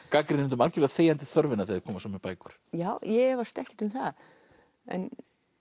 gagnrýnendum algjörlega þegjandi þörfina þegar þeir koma svo með bækur ég efast ekkert um það en